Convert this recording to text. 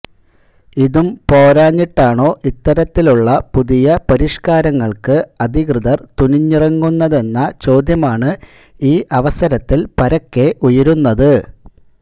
ഇതും പോരാഞ്ഞിട്ടാണോ ഇത്തരത്തിലുള്ള പുതിയ പരിഷ്കാരങ്ങൾക്ക് അധികൃതർ തുനിഞ്ഞിറങ്ങുന്നതെന്ന ചോദ്യമാണ് ഈ അവസരത്തിൽ പരക്കെ ഉയരുന്നത്